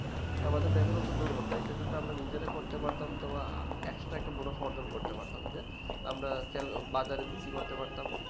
আমাদের বেকারত্ব দূর হতো এটা যদি আমরা নিজেরা করতে পারতাম তোমার আহ একসাথে অনিক মুনাফা অর্জন করতে পারতাম যে আমরা তেল বাজারে বিক্রি করতে পারতাম